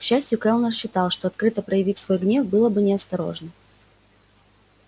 к счастью кэллнер считал что открыто проявить свой гнев было бы неосторожно